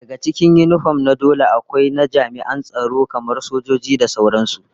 Daga cikin yinifom na dole akwai na jami'an tsaro kamar sojoji da sauran su